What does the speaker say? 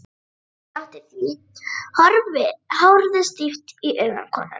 Ég játti því, horfði stíft í augu konunnar.